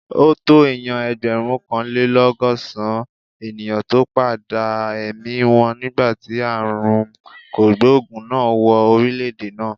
Ó tó èèyàn ẹgbẹ̀rúnkanlélọ́gọ́sàn-án ènìyàn tó padà èmi wọn nígbà tí ààrùn kògbòògùn náà wọ orílè-èdè náà